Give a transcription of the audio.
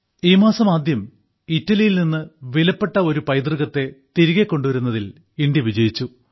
ഈ മാസം ആദ്യം ഇറ്റലിയിൽ നിന്ന് വിലപ്പെട്ട ഒരു പൈതൃകത്തെ തിരികെ കൊണ്ടുവരുന്നതിൽ ഇന്ത്യ വിജയിച്ചു